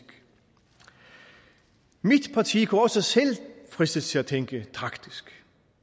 mit parti kunne også selv fristes til at tænke taktisk